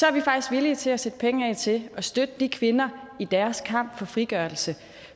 er vi faktisk villige til at sætte penge af til at støtte de kvinder i deres kamp for frigørelse